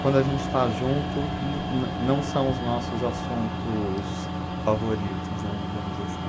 Quando a gente está junto, não não não são os nossos assuntos favoritos, né, digamos assim.